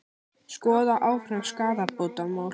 Skoða áfram skaðabótamál